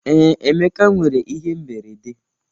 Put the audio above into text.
Ee, Emeka nwere ihe mberede.